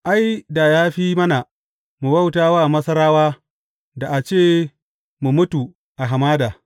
Ai, da ya fi mana mu bauta wa Masarawa, da a ce mu mutu a hamada!